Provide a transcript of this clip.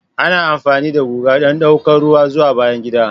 Ana amfani da guga don ɗaukar ruwa zuwa bayan gida.